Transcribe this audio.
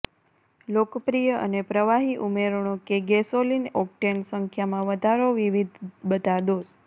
લોકપ્રિય અને પ્રવાહી ઉમેરણો કે ગેસોલિન ઓક્ટેન સંખ્યામાં વધારો વિવિધ બધા દોષ